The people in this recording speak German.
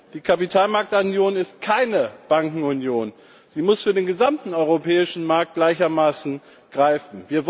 Die Kapitalmarktunion ist keine Bankenunion, sie muss für den gesamten europäischen Markt gleichermaßen greifen.